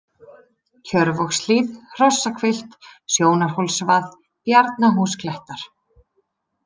Kjörvogshlíð, Hrossahvilft, Sjónarhólsvað, Bjarnahúsklettar